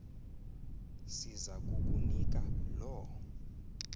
siza kukunika loo